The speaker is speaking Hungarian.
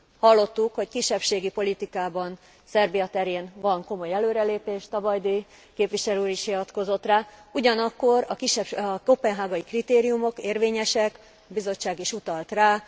Hallottuk, hogy kisebbségi politikában Szerbia terén van komoly előrelépés, Tabajdi képviselő úr is hivatkozott rá, ugyanakkor a koppenhágai kritériumok érvényesek a Bizottság is utalt rá.